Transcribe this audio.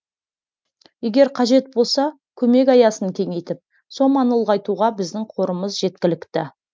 егер қажет болса көмек аясын кеңейтіп соманы ұлғайтуға біздің қорымыз жеткілікті